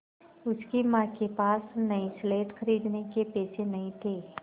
उसकी माँ के पास नई स्लेट खरीदने के पैसे नहीं थे